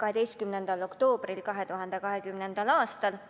12. oktoobril 2020. aastal.